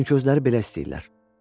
Çünki özləri belə istəyirlər.